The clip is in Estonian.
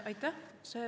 Aitäh!